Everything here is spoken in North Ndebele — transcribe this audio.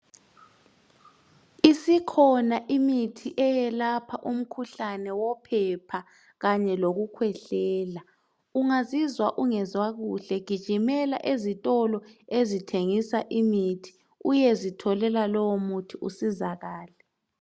Isikhona imithi eyelapha umkhuhlane wophepha kanye lokukhwehlela. Ungazizwa ungezwa kuhle gijimela ezitolo ezithengisa imithi uyezitholela lowomuthi usizakale.